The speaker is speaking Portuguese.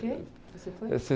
quê que você foi?